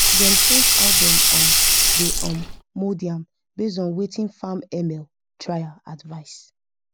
dem change how dem um dey um mould yam base on wetin farmml trial advice